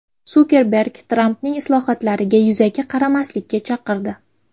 Sukerberg Trampning islohotlariga yuzaki qaramaslikka chaqirdi.